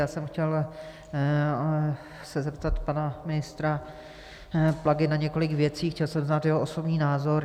Já jsem se chtěl zeptat pana ministra Plagy na několik věcí, chtěl jsem znát jeho osobní názor.